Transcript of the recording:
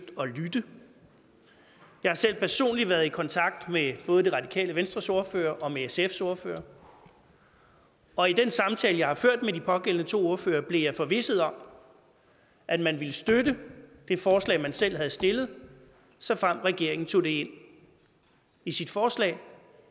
at lytte jeg har selv personligt været i kontakt med både det radikale venstres ordfører og med sfs ordfører og i den samtale jeg har ført med de pågældende to ordførere blev jeg forvisset om at man ville støtte det forslag man selv havde stillet såfremt regeringen tog det ind i sit forslag